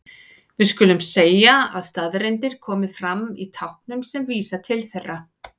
Við skulum segja að staðreyndir komi fram í táknum sem vísa til þeirra.